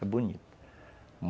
É bonito.